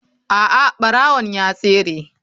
A'a barawon ya tsere.